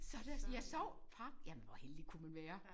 Så der jeg sov et par jamen hvor heldig kunne man være